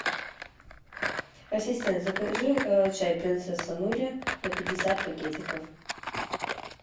ассистент закажи чай принцесса нури на пятьдесят пакетиков